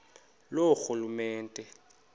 loorhulumente